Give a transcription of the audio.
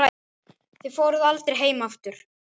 Þið fóruð aldrei heim aftur.